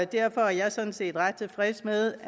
derfor er jeg sådan set ret tilfreds med